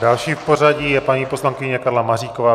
Další v pořadí je paní poslankyně Karla Maříková.